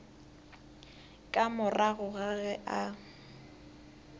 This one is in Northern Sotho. ka morago ga ge a